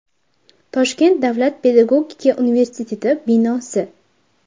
Toshkent davlat pedagogika universiteti binosi.